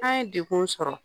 An' ye dekun sɔrɔ.